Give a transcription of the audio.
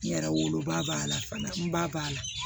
N yɛrɛ woloba b'a la fana n ba b'a la